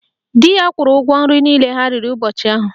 Dị ya kwuru ụgwọ nri niile ha riri ụbọchị ahụ